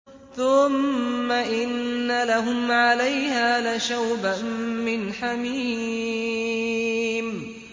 ثُمَّ إِنَّ لَهُمْ عَلَيْهَا لَشَوْبًا مِّنْ حَمِيمٍ